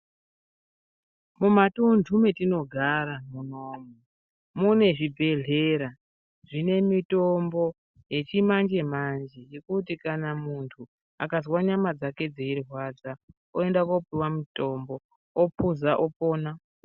Mumatundu matinogara munomu mune zvibhedhlera zvine mitombo yechimanje manje zvekuti kana muntu akazwa nyama dzake dzeirwadza oenda kopuwa mutombo opuza opona.